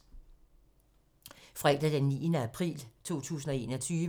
Fredag d. 9. april 2021